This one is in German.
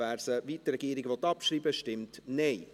wer sie, wie die Regierung, abschreiben will, stimmt Nein.